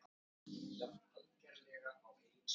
Það er bara annaðhvort eða.